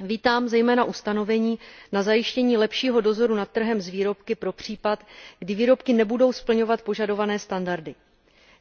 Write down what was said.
Vítám zejména ustanovení na zajištění lepšího dozoru nad trhem s výrobky pro případ, kdy výrobky nebudou splňovat požadované standardy.